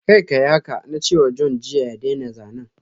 Kar kayi haka! na ce wa John jiya ya daina zanen.